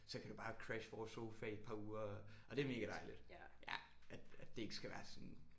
Så kan du bare crashe vores sofa i et par uger og det er mega dejligt ja at at det ikke skal være sådan